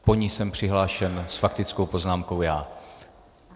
Po ní jsem přihlášen s faktickou poznámkou já.